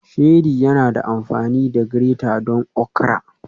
Sheri yana amfani da grater don okra